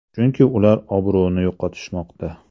Chunki ular obro‘ni yo‘qotishmoqda.